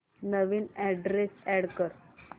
नवीन address add कर